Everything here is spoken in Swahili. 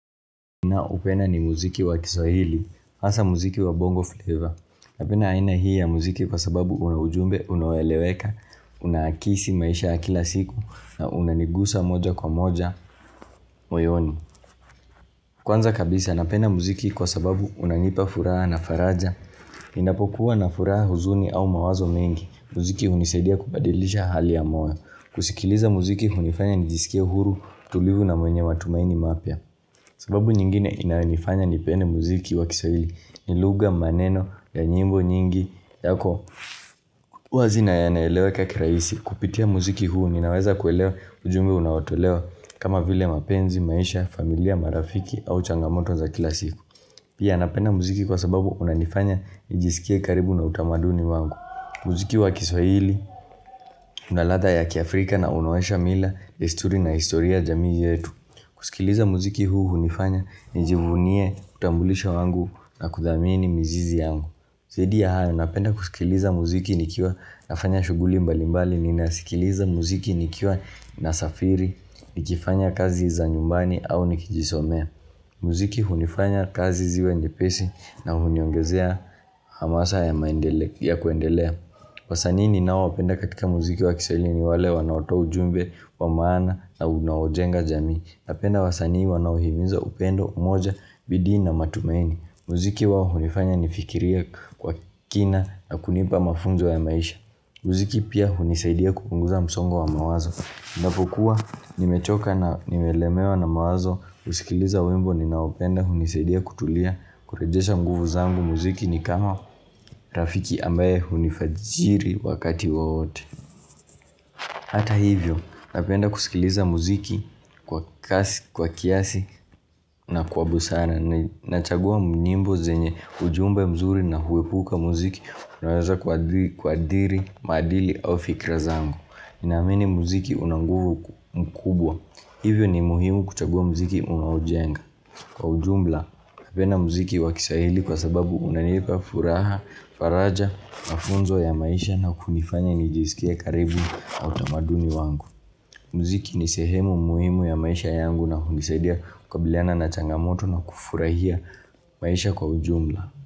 Naoupenda ni muziki wa kiswahili, hasa muziki wa bongo flavor. Napenda aina hii ya muziki kwa sababu unaujumbe, unaoeleweka, unaakisi maisha ya kila siku, na unanigusa moja kwa moja, moyoni. Kwanza kabisa, napenda muziki kwa sababu unanipa furaha na faraja. Ninapokuwa na furaha huzuni au mawazo mengi. Muziki hunisaidia kubadilisha hali ya moyo. Kusikiliza muziki hunifanya nijisikie huru tulivu na mwenye matumaini mapya. Sababu nyingine inayo nifanya nipende muziki wa kiswahili ni lugha maneno ya nyimbo nyingi yako huazinaya naelewakakirahisi kupitia muziki huu ninaweza kuelewa ujumbe unaotolewa kama vile mapenzi, maisha, familia, marafiki au changamoto za kilasiku Pia napenda muziki kwa sababu unanifanya nijisikie karibu na utamaduni wangu Muziki wa kiswahili, unaladha ya kiafrika na unaonyesha mila, desturi na historia yajamii yetu kusikiliza muziki huu hunifanya ni jivunie utambulisho wangu na kudhamini mizizi yangu. Zaidi ya hayo napenda kusikiliza muziki nikiwa nafanya shughuli mbalimbali ni nasikiliza muziki nikiwa nasafiri ni kifanya kazi za nyumbani au nikijisomea. Muziki hunifanya kazi ziwe nyepesi na huniongezea hamasa ya kuendelea. Wasanii ni nao wapenda katika muziki wa kiswahili ni wale wanaotoa ujumbe wa maana na unaojenga jamii Napenda wasanii wanaohiminza upendo, umoja, bidii na matumaini Muziki wao hunifanya nifikirie kwa kina na kunipa mafunzo ya maisha Muziki pia hunisaidia kupunguza msongo wa mawazo ninapokuwa nimechoka na nimelemewa na mawazo kusikiliza wimbo ni nao penda hunisaidia kutulia kurejesha nguvu zangu muziki ni kama rafiki ambaye hunifajiri wakati wowote Hata hivyo, napenda kusikiliza muziki kwa kiasi na kwa busara Nachagua nyimbo zenye ujumbe mzuri na huepuka muziki Unaoweza kuadhiri, maadili au fikra zangu ninaamini muziki unanguvu mkubwa Hivyo ni muhimu kuchagua muziki unaojenga Kwa ujumla, napenda muziki wakiswahili kwa sababu unanipa furaha, faraja, mafunzo ya maisha na kunifanya nijisikie karibu na utamaduni wangu. Muziki ni sehemu muhimu ya maisha yangu na hunisaidia kukabiliana na changamoto na kufurahia maisha kwa ujumla.